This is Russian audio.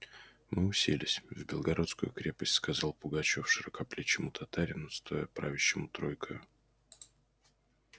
мы уселись в белогорскую крепость сказал пугачёв широкоплечему татарину стоя правящему тройкою